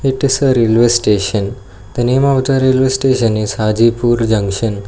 It is a railway station the name of the railway station is hajipur junction.